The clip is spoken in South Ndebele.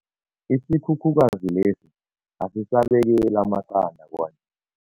Isikhukhukazi lesi asisabekeli amaqanda kwanje.